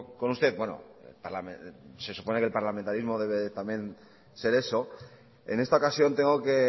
con usted bueno se supone que el parlamentarismo debe de también ser eso en esta ocasión tengo que